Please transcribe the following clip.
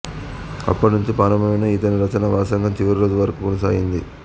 అప్పటి నుంచి ప్రారంభమైన ఇతని రచనా వ్యాసంగం చివరిరోజు వరకు కొనసాగింది